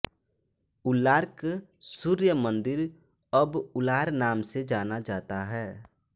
उलार्क सूर्य मंदिर अब उलार नाम से जाना जाता है